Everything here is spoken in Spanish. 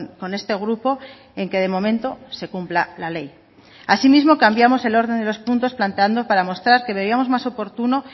con este grupo en que de momento se cumpla la ley así mismo cambiamos el orden de los puntos planteando para mostrar que veíamos más oportuno